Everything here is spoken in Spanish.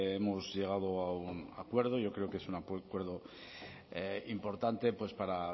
hemos llegado a un acuerdo yo creo que es un acuerdo importante para